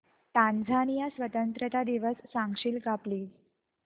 Tanzania स्वतंत्रता दिवस सांगशील का प्लीज